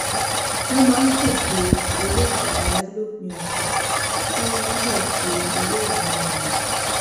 wón máa ń ṣeto ereidaraya lópin òsè kí wón lè máa ṣe eré ìmárale